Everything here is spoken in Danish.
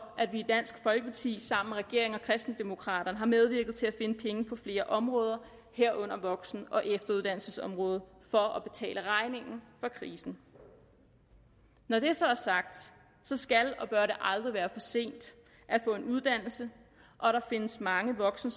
at vi i dansk folkeparti sammen med regeringen og kristendemokraterne har medvirket til at finde penge på flere områder herunder voksen og efter uddannelsesområdet for at betale regningen for krisen når det så er sagt så skal og bør det aldrig være for sent at få en uddannelse og der findes mange voksen